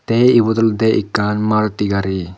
te ibot olodey ekkan malti gari.